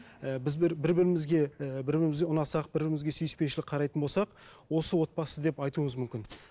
і біз бір бір бірімізге ііі бір бірімізге ұнасақ бір бірімізге сүйіспеншілік қарайтын болсақ осы отбасы деп айтуыңыз мүмкін